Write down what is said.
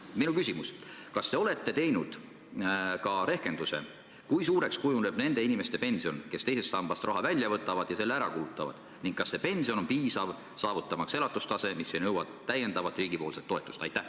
Minu küsimus: kas te olete teinud ka rehkenduse, kui suureks kujuneb nende inimeste pension, kes teisest sambast raha välja võtavad ja selle ära kulutavad, ning kas see pension on piisav saavutamaks elatustaset, mis ei nõua täiendavat riigipoolset toetust?